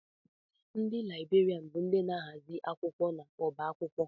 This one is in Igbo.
Ndị Laịberian bụ ndị na-ahazi akwụkwọ n'ọbá akwụkwọ.